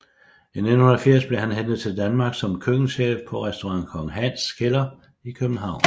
I 1980 blev han hentet til Danmark som køkkenchef på restaurant Kong Hans Kælder i København